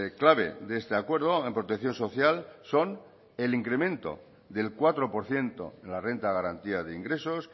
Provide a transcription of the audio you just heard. clave de este acuerdo en protección social son el incremento del cuatro por ciento en la renta de garantía de ingresos